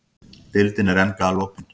Deildin er enn galopin